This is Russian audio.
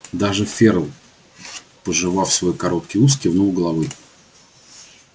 даже ферл пожевав свой короткий ус кивнул головой